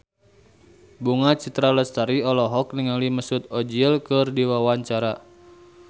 Bunga Citra Lestari olohok ningali Mesut Ozil keur diwawancara